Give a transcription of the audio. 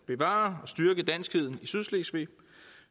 bevare og styrke danskheden i sydslesvig